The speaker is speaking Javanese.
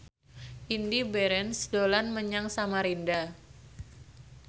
Indy Barens dolan menyang Samarinda